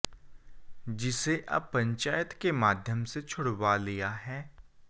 जिसे अब पंचायत के माध्यम से छुड़वा लिया है